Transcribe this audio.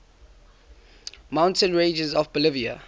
mountain ranges of bolivia